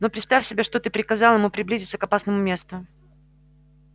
но представь себе что ты приказал ему приблизиться к опасному месту